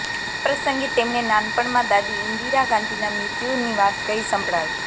આ પ્રસંગે તેમણે નાનપણમાં દાદી ઇંદિરા ગાંધીના મૃત્યુની વાત કહી સંભળાવી